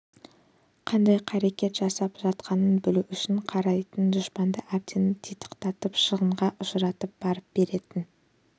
қандай қарекет жасалып жатқанын білу үшін қарайтын дұшпанды әбден титықтатып шығынға ұшыратып барып беретін